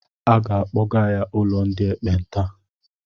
A ga-akpọga ya ụlọ ndị ekpenta.